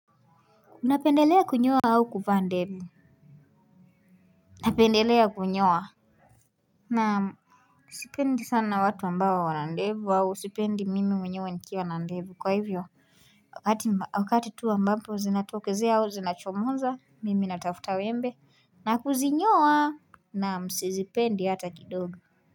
Unapendelea kunyoa au kuvaa ndevu napendelea kunyoa naam sipendi sana watu ambayo wana ndevu au sipendi mimi mwenyewe nikiwa na ndevu kwa hivyo wakati tu ambapo zinatokezea au zinachomoza mimi natafuta wembe na kuzinyoa. Naam sizipendi hata kidogo.